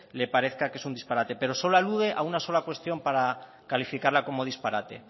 le parezca que es un disparate pero solo alude a una sola cuestión para calificarla como disparate